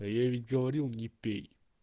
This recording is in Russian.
а я ведь говорил не пей